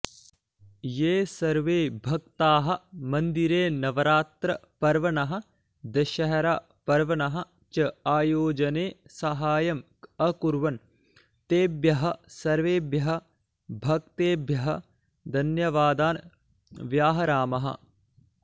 ये सर्वे भक्ताः मन्दिरे नवरात्रपर्वणः दशहरापर्वणः च आयोजने साहाय्यम् अकुर्वन् तेभ्यः सर्वेभ्यः भक्तेभ्यः धन्यवादान् व्याहरामः